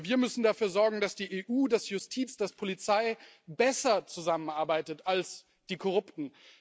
Aber wir müssen dafür sorgen, dass die EU, dass Justiz, dass Polizei besser zusammenarbeitet als die Korrupten.